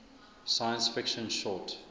science fiction short